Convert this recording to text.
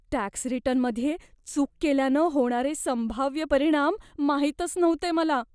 Tax रिटर्नमध्ये चूक केल्यानं होणारे संभाव्य परिणाम माहीतच नव्हते मला.